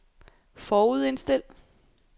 forudindstil